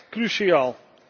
Dat is echt cruciaal.